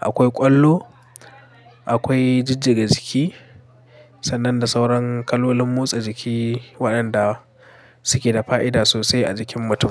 akwai ƙwallo, akwai jijjiga jiki sannan da sauran kalolin motsa jiki waɗanda suke da fa'ida sosai a jikin mutum.